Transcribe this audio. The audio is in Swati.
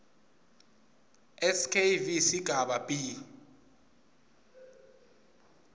skv sigaba b